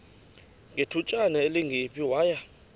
ngethutyana elingephi waya